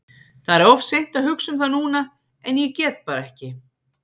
Það er of seint að hugsa um það núna en ég get bara ekki.